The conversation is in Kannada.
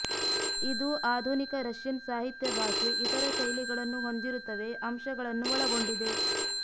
ಇದು ಆಧುನಿಕ ರಷ್ಯನ್ ಸಾಹಿತ್ಯ ಭಾಷೆ ಇತರ ಶೈಲಿಗಳನ್ನು ಹೊಂದಿರುತ್ತವೆ ಅಂಶಗಳನ್ನು ಒಳಗೊಂಡಿದೆ